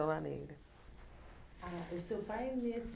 negra Ah o seu pai, nesse